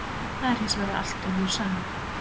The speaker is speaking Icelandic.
Það er hins vegar allt önnur saga.